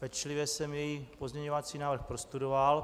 Pečlivě jsem její pozměňovací návrh prostudoval.